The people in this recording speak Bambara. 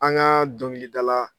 An ŋaa dɔŋilidala